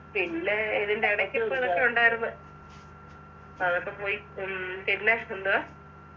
പിന്നെ ഇതിൻ്റെ ഇടക്കിപ്പൊ ഇതൊക്കെ ഉണ്ടായിരുന്ന് അതൊക്കെ പോയി ഉം പിന്നെ എന്തുവാ